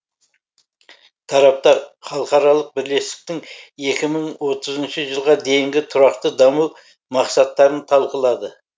тараптар халықаралық бірлестіктің екі мың отызыншы жылға дейінгі тұрақты даму мақсаттарын талқылады